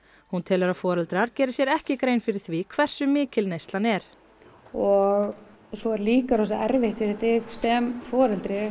hún telur að foreldrar geri sér ekki grein fyrir því hversu mikil neyslan er og svo er líka erfitt fyrir þig sem foreldri